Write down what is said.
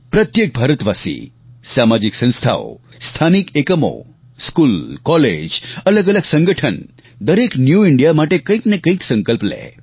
પ્રત્યેક ભારતવાસી સામાજિક સંસ્થાઓ સ્થાનિક એકમો સ્કૂલ કોલેજ અલગઅલગ સંગઠન દરેક ન્યૂ ઈન્ડિયા માટે કંઈક ને કંઈક સંકલ્પ લે